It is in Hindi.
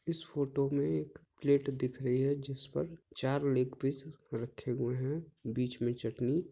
इस फोटो में एक प्लेट दिख रही है जिस पर चार लेग पीस रखे हुए हैं बीच में चटनी--